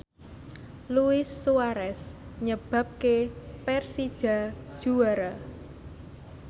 Luis Suarez nyebabke Persija juara